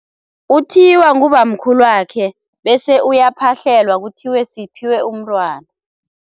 Uthiywa ngubamkhulwakhe bese uyaphahlelwa kuthiwe siphiwe umntwana.